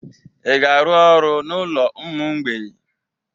Ị ga-arụ ọrụ n'ụlọ ụmụ mgbei?